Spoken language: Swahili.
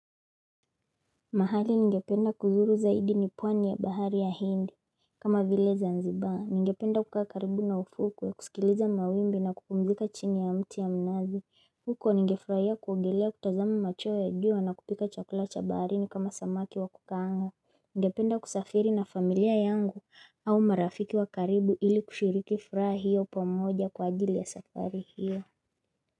Mahali ningependa kuzuru zaidi ni pwani ya bahari ya hindi kama vile zanzibaa ningependa kukaa karibu na ufuku na kusikiliza mawimbi na kupumzika chini ya mti ya mnazi huko ningefurahia kuogelea kutazama macheo ya jua na kupika chakula cha baharini kama samaki wa kukaanga Ningependa kusafiri na familia yangu au marafiki wa karibu ili kushiriki furaha hiyo pamoja kwa ajili ya safari hiyo.